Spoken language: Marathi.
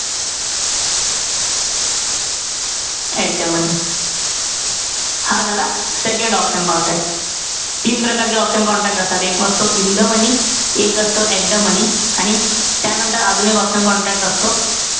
At the money हा झाला second option contract. तीन प्रकारचे option contract असतात. एक असतो in the money. एक असतो at the moeny. आणि त्यानंतर अजून एक option contract असतो,